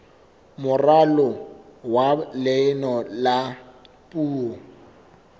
moralo wa leano la puo